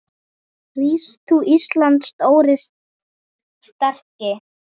Rís þú, Íslands stóri, sterki